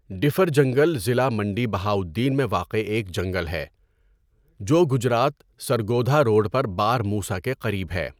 Differ جنگل ضلع منڈی بہاؤالدین میں واقع ایک جنگل ہے جو گجرات سرگودھا روڑ پر بار موسیٰ کے قریب ہے۔